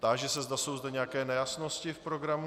Táži se, zda jsou zde nějaké nejasnosti v programu.